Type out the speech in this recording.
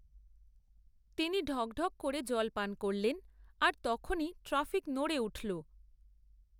তিনি ঢক ঢক করে জল পান করলেন, আর তখনি ট্রাফিক নড়ে উঠল।